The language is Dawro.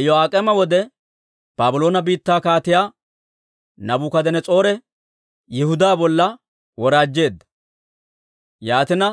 Iyo'aak'eema wode Baabloone biittaa Kaatiyaa Naabukadanas'oore Yihudaa bolla woraajjeedda. Yaatina